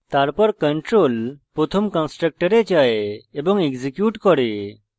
তারপর control প্রথম কন্সট্রকটরে যায় এবং executes করে